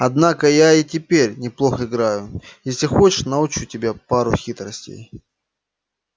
однако я и теперь неплохо играю и если хочешь научу тебя паре хитростей